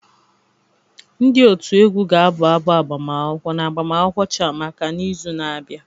Ndị otu egwu ga-abụ abụ agbamakwụkwọ na agbamakwụkwọ Chiamaka n'izu na-abịa